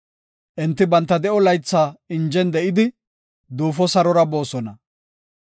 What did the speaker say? Enti banta de7o laytha injen de7idi, duufo sarora boosona.